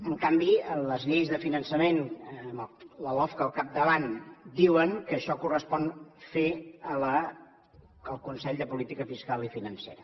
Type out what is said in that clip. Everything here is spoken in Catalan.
en canvi les lleis de finançament amb la lofca al capdavant diuen que això li correspon fer ho al consell de política fiscal i financera